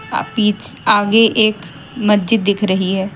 अ पीछ आगे एक मस्जिद दिख रही है।